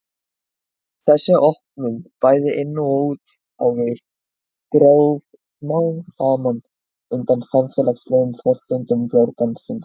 Þessi opnun, bæði inn og út á við, gróf smám saman undan samfélagslegum forsendum bjórbannsins.